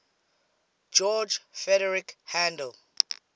george frideric handel